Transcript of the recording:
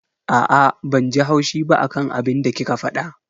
Aa, banji haushi ba akan abinda kika fada.